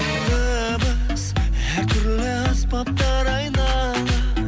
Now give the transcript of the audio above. дыбыс әр түрлі аспаптар айнала